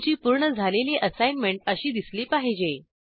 तुमचे पूर्ण झालेले असाईनमेंट असे दिसले पाहिजे